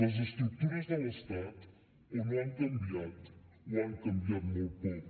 les estructures de l’estat o no han canviat o han canviat molt poc